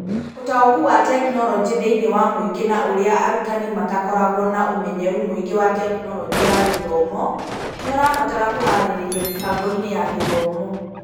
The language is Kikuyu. ũtaũku wa tekinoronjĩ thĩinĩ wa mũingĩ na ũrĩa arutani matakoragwo na ũmenyeru mũingĩ wa Tekinoronjĩ ya Gĩthomo nĩ ũrabatara kũharĩrĩrio mĩbango-inĩ ya gĩthomo.